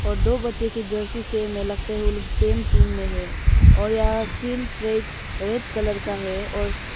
और दो बच्चे की जर्सी से हमें लगता है वो लोग सेम टीम में है और यह फील्ड ट्रैक रेड कलर का है और--